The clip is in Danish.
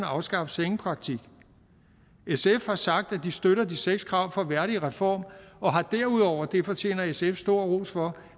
afskaffe sengepraktik sf har sagt at de støtter de seks krav fra værdigreform og har derudover det fortjener sf stor ros for